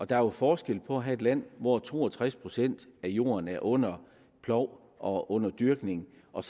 der er jo forskel på at have et land hvor to og tres procent af jorden er under plov og under dyrkning og